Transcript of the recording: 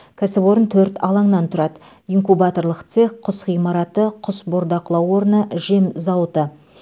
кәсіпорын төрт алаңнан тұрады инкубаторлық цех құс ғимараты құс бордақылау орны жем зауыты